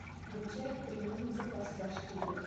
включай три ниндзя костяшки вверх